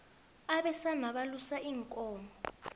abesana balusa iinkomo